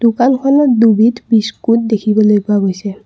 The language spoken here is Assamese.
দোকানখনত দুবিধ বিস্কুট দেখিবলৈ পোৱা গৈছে।